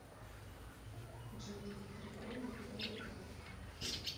джой приколы про банк